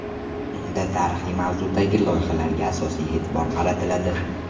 Unda tarixiy mavzudagi loyihalarga asosiy e’tibor qaratiladi.